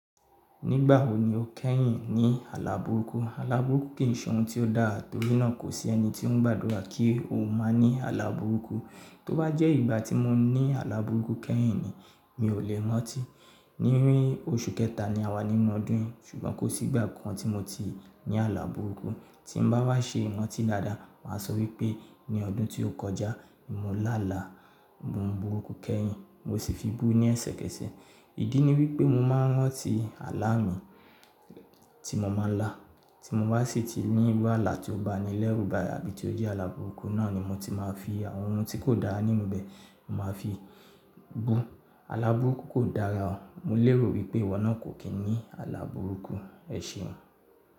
Nígbà wo ni o kẹ́yìn ní àlá burúkú? Àlá burúkú kì í ṣe ohun tí ó dáa torí náà kò sí ẹni tí ó ń gbàdúrà kí o máa ní àlá burúkú. Tó bá jẹ́ ìgbà tí mo ní àlá burúkú kẹ́yìn ni, mi ò lè rantí. Ní orí oṣù kẹta ni a wà nínú ọdún yìí ṣùgbọ́n kò sí ìgbà kan tí mo ti ní àlá burúkú. Tí mo bá wá ṣe mọ̀ tí dáadáa, mà á sọ wípé ní ọdún tí ó kọjá ni mo lá àlá burúkú kẹ́yìn, mo sì fi bú ní ẹsẹ̀kẹsẹ̀. Ìdí ni wípé mo máa ń rántí alá mi tí mo máa ń lá. Tí mo bá sì ti ní ìrú àlá tí ó ba ni lẹ́rú bá yà bí tí ó rí àlá burúkú náà ni mo ti máa fi àwọn ohun tí kò dára nínú ibẹ̀, mo máa fi bú. Àlá burúkú kò dára o. Mo lérò wípé ìwọ náà kò kí n ní àlá burúkú. Ẹ ṣeun.